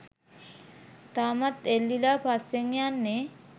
තාමත් එල්ලිලා පස්සෙන් යන්නේ